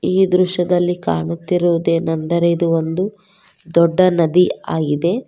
ಈ ದೃಶ್ಯದಲ್ಲಿ ಕಾಣುತ್ತಿರುವುದೇನಂದರೆ ಇದು ಒಂದು ದೊಡ್ಡ ನದಿ ಆಗಿದೆ.